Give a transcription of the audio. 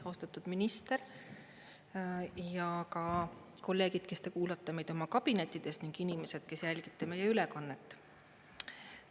Austatud minister ja ka kolleegid, kes te kuulate meid oma kabinettides, ning inimesed, kes jälgite meie ülekannet!